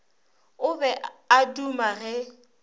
o be a duma ge